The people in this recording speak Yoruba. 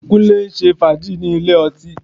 Kúnlé ń ṣe fàájì ní ilé ọtí